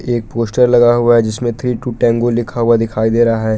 एक पोस्टर लगा हुआ है जिसमे थ्री टू टैंगो लिखा हुआ दिखाई दे रहा है।